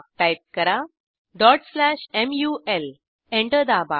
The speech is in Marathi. टाईप करा mul एंटर दाबा